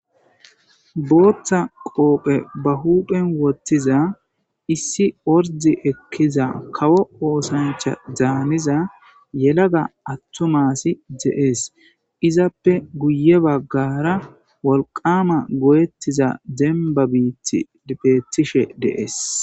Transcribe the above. Booththa qoophe ba huuphen woththiza issi ordde ekkiza kawo oosanchcha daaniza yelaga aththuma asi de7ees; izappe guyye baggaara wolqqaama goyeththiza dembba biiththi beeththishe de7ees.